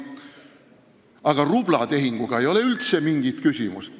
Aga rublatehingu puhul ei ole üldse mingit küsimust.